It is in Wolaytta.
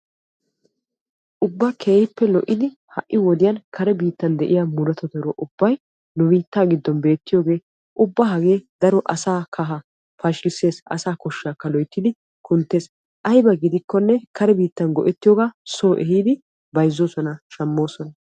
Ubba keehippe lo'iddi ha'i wodiyan kare biittan de'iya buquratti nu biittan beettiyooge asaa kahaa pashkksees, asaa koshaa loyttiddi kunttees, aybba gidikkokka kare biittan go'ettiyooga so ehiidi bayzzosonna shamosonna.